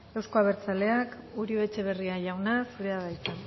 euzko abertzaleak uribe etxebarria jauna zurea da hitza